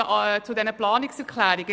Jetzt zu den beiden Anträgen: